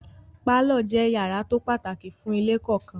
Pálọ̀ jẹ́ yàrá tó pàtàkì fún ilé kọ̀ọ̀kan.